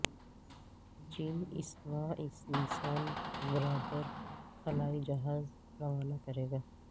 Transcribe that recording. چین اس ماہ انسان بردار خلائی جہاز روانہ کرے گا